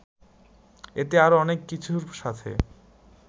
এতে আরও অনেক কিছুর সাথে